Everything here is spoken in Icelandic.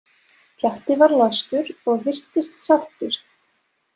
Pjatti var lagstur og virtist sáttur.